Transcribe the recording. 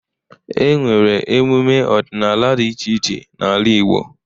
E nwere emume ọdịnala dị iche iche n'ala Igbo.